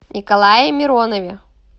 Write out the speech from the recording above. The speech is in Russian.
николае миронове